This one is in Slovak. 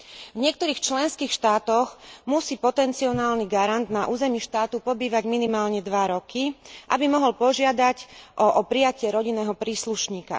V niektorých členských štátoch musí potencionálny garant na území štátu pobývať minimálne 2 roky, aby mohol požiadať o prijatie rodinného príslušníka.